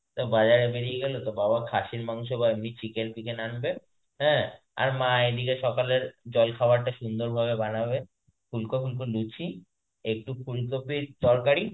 তো বাজারে বেরিয়ে গেল তো বাবা খাসির মাংস বা এমনই chicken ফিকেন আনবে হ্যাঁ আর মা এদিকে সকালে জলখাবারটা সুন্দর করে বানাবে ফুলকো ফুলকো লুচি একটু ফুলকপির তরকারি,